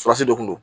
de kun don